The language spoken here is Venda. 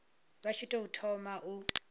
vha tshi tou thoma u